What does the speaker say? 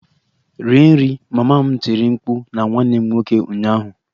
Rie nri! Mama m tiri mkpu na nwanne m nwoke ụnyaahụ